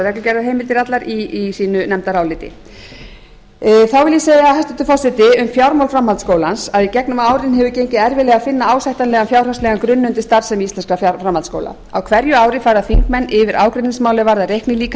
reglugerðarheimildir allar í sínu nefndaráliti þá vil ég segja hæstvirtur forseti um fjármál framhaldsskólans að í gegnum árin hefur gengið erfiðlega að finna ásættanlegan fjárhagslegan grunn undir starfsemi íslenskra framhaldsskóla á hverju ári fara þingmenn yfir ágreiningsmálin er varðar reiknilíkan